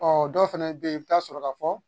Ɔ dɔw fana bɛ yen i bɛ taa sɔrɔ ka fɔ